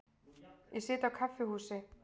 Ég sit á kaffihúsi.